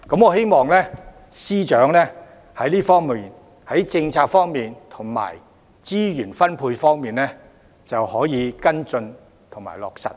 我希望司長在政策及資源分配方面，可以跟進和落實。